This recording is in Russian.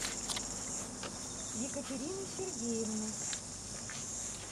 екатерины сергеевны